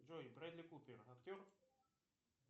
джой брэдли купер актер